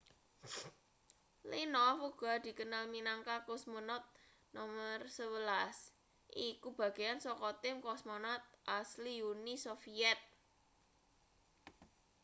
leonov uga dikenal minangka cosmonaut no 11 iku bagean saka tim cosmonaut asli uni soviet